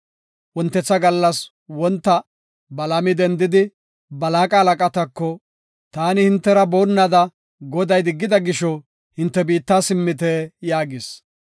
Wontetha gallas wonta Balaami dendidi, Balaaqa halaqatako, “Taani hintera boonnada Goday diggida gisho, hinte biitta simmite” yaagis.